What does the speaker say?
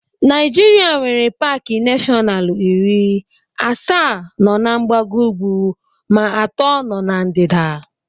Naịjirịa nwere paaki nashọnalu iri, asaa nọ na mgbago ugwu ma atọ nọ na ndịda.